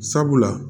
Sabula